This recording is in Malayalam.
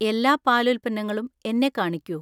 എല്ലാ പാലുൽപ്പന്നങ്ങളും എന്നെ കാണിക്കൂ